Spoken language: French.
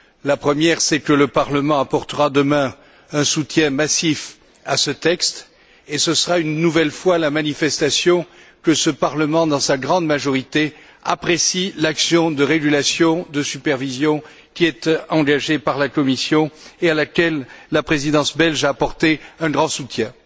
La première, c'est que le Parlement apportera demain un soutien massif à ce texte, ce qui montrera une nouvelle fois que ce Parlement, dans sa grande majorité, apprécie l'action de régulation, de supervision, qui est engagée par la Commission et à laquelle la Présidence belge a apporté un grand soutien.